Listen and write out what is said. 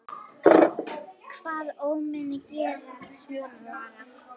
Hvaða ómenni gera svona lagað?